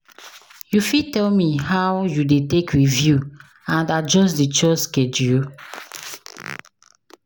you fit tell me how you dey take review and adjust di chores schedule?